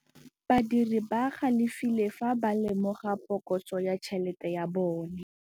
Badiri ba galefile fa ba lemoga phokotsô ya tšhelête ya bone.